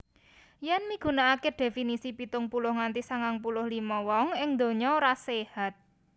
Yèn migunakaké dhéfinisi pitung puluh nganti sangang puluh limo wong ing donya ora séhat